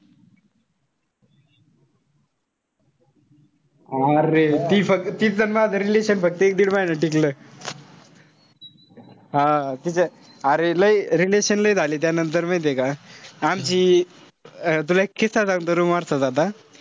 अरे ती फक्त तीच अन माझं relationship फक्त एक-डिड महिना टिकलं. हा अरे लय relationship लय झाले त्यानंतर माहितीये का. आमची अं तुला एक किस्सा सांगतो room वरचा आता.